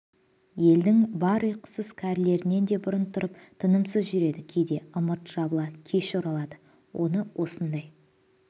елдің бар ұйқысыз кәрілерінен де бұрын тұрып тынымсыз жүреді кейде ымырт жабыла кеш оралады оны осындай